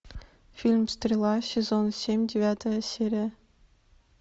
фильм стрела сезон семь девятая серия